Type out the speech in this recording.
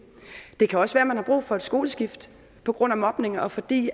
det kan også være man har brug for et skoleskift på grund af mobning og fordi